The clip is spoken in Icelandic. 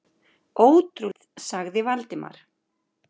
Ótrúlegt sagði Valdimar.